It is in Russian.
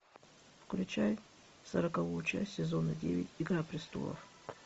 включай сороковую часть сезона девять игра престолов